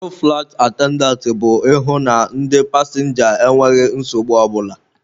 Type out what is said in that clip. Ọrụ fụlaịt atendantị bụ ịhụ na ndị pasịnja enweghị nsogbu ọ bụla.